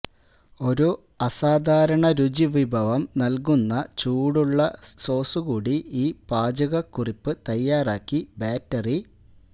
ഒരു അസാധാരണ രുചി വിഭവം നൽകുന്ന ചൂടുള്ള സോസ് കൂടി ഈ പാചകക്കുറിപ്പ് തയ്യാറാക്കി ബാറ്ററി